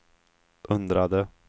undrade